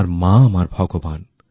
আমার মা আমার ভগবান